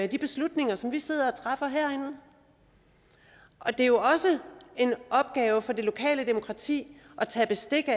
de beslutninger som vi sidder og træffer herinde og det er jo også en opgave for det lokale demokrati at tage bestik af